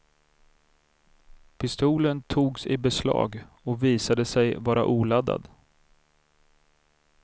Pistolen togs i beslag och visade sig vara oladdad.